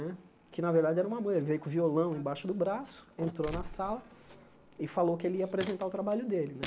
Né que na verdade era uma ele veio com o violão embaixo do braço, entrou na sala e falou que ele ia apresentar o trabalho dele né.